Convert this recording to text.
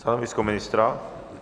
Stanovisko ministra?